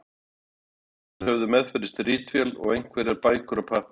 Þeir félagar höfðu meðferðis ritvél og einhverjar bækur og pappíra.